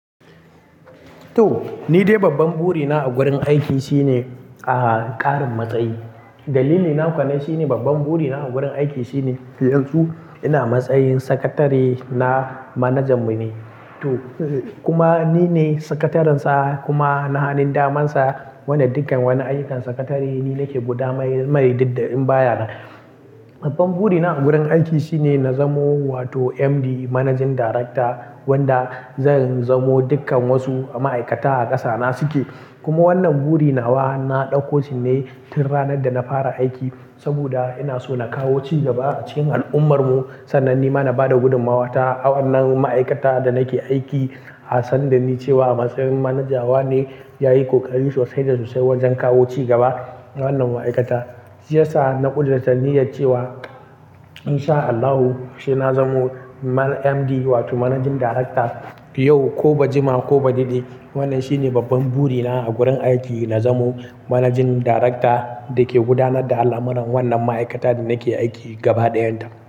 To, ni dai babban burina a gurin aiki shine, aha, ƙarin matsayi. Dalili na ko nan shine babban burina a gurin aiki shine yanzu ina matsayin sakatare na manajan mu ne. To, kuma nine sakatarin sa kuma na hanin daman sa. Wannan dukkan wani aikin sakatare nine ke gudamaimai didda in baya nan. Babban burina a gurin aiki shine na zamo wato MD, Managing Director wanda zan zamo dukkan wasu ma'aikata a ƙasa na suke. Kuma wannan burin nawa na ɗauko shi ne tun ranar da na fara aiki. Saboda ina so na kawo cigaba a cikin al'ummar mu. Sannan nima na ba da gudummawa ta, awannan ma'aikata da nake aiki, a sanda ni cewa a matsayin manaja wa ne, yayi ƙoƙari sosai da sosai wajen kawo cigaba a wannan ma'aikata. Shi yasa na ƙudarta niyyar cewa in sha Allahu, sai na zamo man MD, wato Managing Director yau ko ba jima ko ba didi. Wannan shine babban burina a gurin aiki, na zamo Managing Director da ke gudanar da al'amuran wannan ma'aikata da nake aiki gaba ɗayan ta.